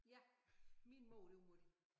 Ja min mor det var mutti